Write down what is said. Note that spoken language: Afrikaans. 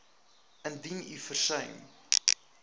indien u versuim